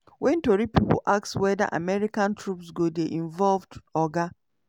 wen tori pipo ask weda american troops go dey involved oga